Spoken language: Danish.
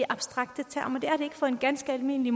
abstrakte termer det er det ikke for en ganske almindelig